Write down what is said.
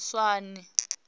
tswane